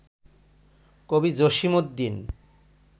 কবি জসিম উদ্দিন